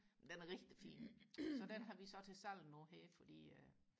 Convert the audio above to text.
den er rigtig fin så den har vi så til salg nu her fordi øh